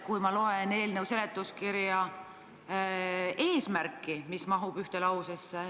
Ma loen seletuskirjast eelnõu eesmärki, mis mahub ühte lausesse.